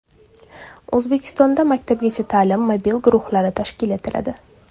O‘zbekistonda maktabgacha ta’lim mobil guruhlari tashkil etiladi.